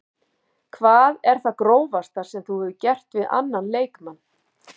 Hvað er það grófasta sem þú hefur gert við annan leikmann?